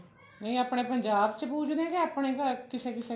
ਨਹੀਂ ਆਪਣੇ ਪੰਜਾਬ ਚ ਪੁਜਦੇ ਆ ਆਪਣੇ ਘਰ ਕਿਸੇ ਕਿਸੇ ਦੇ